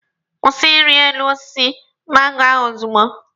Kwụsị iri elu osisi mango ahụ ozugbo!